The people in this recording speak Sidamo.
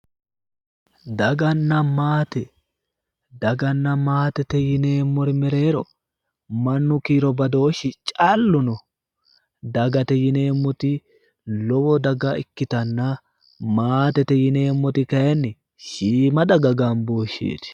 daganna maate, daganna maatete yineemmori mereero mannu kiiro badooshshi callu no, dagate yineemmoti lowo daga ikkitanna maatete yineemmoti kayiinni shiima daga gambooshsheeti